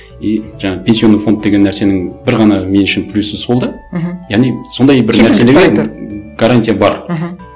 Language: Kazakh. и жаңағы пенсионный фонд деген нәрсенің бір ғана мен үшін плюсы сол да мхм яғни сондай гарантия бар мхм